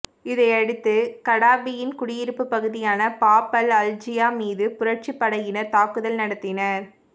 இதையடுத்து கடாபியின் குடியிருப்பு பகுதியான பாப் அல் அஜீசியா மீது புரட்சிப் படையினர் தாக்குதல் நடத்தினர்